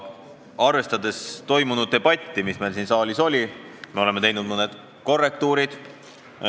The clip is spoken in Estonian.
Arvestades seda debatti, mis meil siin saalis oli, oleme teinud mõned korrektiivid.